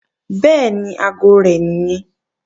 Bẹ́ẹ̀ni, aago rẹ̀ nìyẹn